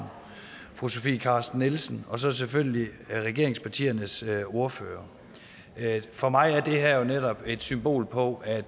fru sofie carsten nielsen og så selvfølgelig regeringspartiernes ordførere for mig er det her jo netop et symbol på at